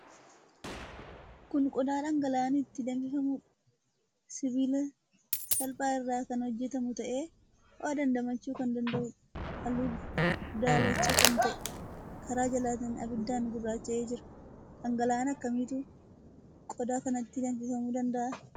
Kun qodaa dhangala'aan itti danfifamuudha. Sibiila salphaa irraa kan hojjetamu ta'ee ho'a damdamachuu kan danda'uudha. Halluu daalacha kan ta'ee, karaa jalaatiin abiddaan gurraacha'ee jira. Dhangala'aa akkamiitu qodaa kanatti danfifamuu danda'a?